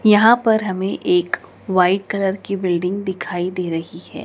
यहां पर हमें एक वाइट कलर की बिल्डिंग दिखाई दे रही है।